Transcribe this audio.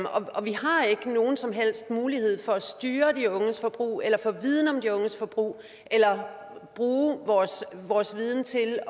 og vi har ikke nogen som helst mulighed for at styre de unges forbrug eller få viden om de unges forbrug eller bruge vores vores viden til at